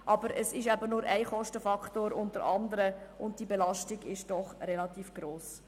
Aber es ist eben nur Kostenfaktor unter anderen, und seine Belastung ist doch relativ hoch.